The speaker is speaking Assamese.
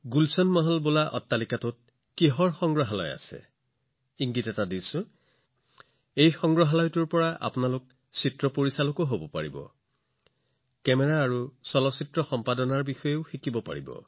গুলচন মহল নামৰ ভৱনটোত কোনটো সংগ্ৰহালয় আছে আপোনালোকৰ বাবে ইংগিতটো হল যে এই সংগ্ৰহালয়ত আপোনালোকে চলচ্চিত্ৰৰ পৰিচালকো হব পাৰে আপোনালোকে কেমেৰা সম্পাদনাৰ সূক্ষ্ম জ্ঞানো লাভ কৰিব পাৰে